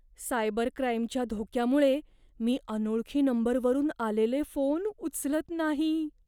Cyber क्राईमच्या धोक्यामुळे मी अनोळखी नंबरवरून आलेले फोन उचलत नाही.